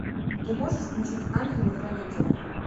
ты можешь включить ангелы хранители